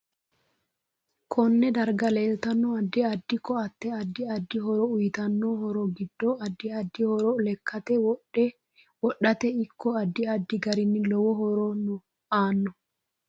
Konne darga leeltanno addi addi. ko'ate addi addi horo uyiitano horo giddo addi addi horo lekkate wodhate ikko addi addi garinni lowo horo aano